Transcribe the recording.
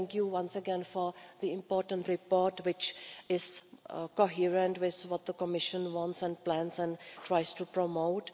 Thank you once again for the important report which is coherent with what the Commission wants and plans and tries to promote.